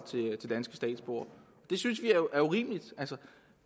til danske statsborgere det synes vi er urimeligt